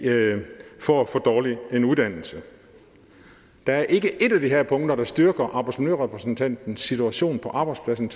får for dårlig en uddannelse der er ikke ét af de her punkter der styrker arbejdsmiljørepræsentantens situation på arbejdspladsen